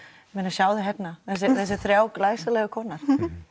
sjáðu hérna þessar þrjá glæsilegu kona